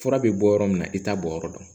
Fura bɛ bɔ yɔrɔ min na i t'a bɔ yɔrɔ dɔn